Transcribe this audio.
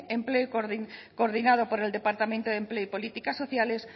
empleo coordinado por el departamento de empleo y políticas sociales